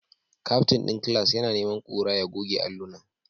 Captain din class yana neman kura ya goge allunan